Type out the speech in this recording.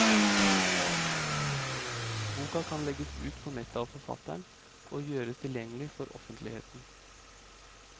Boka kan legges ut på nettet av forfatteren og gjøres tilgjengelig for offentligheten.